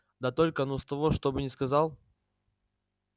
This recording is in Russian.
да только ну с того чтобы не сказал